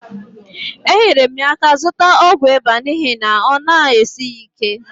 enyere m ya aka zụta ọgwụ ịba n'ihi na ọ na-esighi ike.